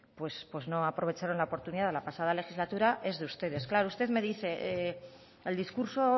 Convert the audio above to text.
pues no aprovecharon la oportunidad la pasada legislatura es de ustedes claro usted me dice el discurso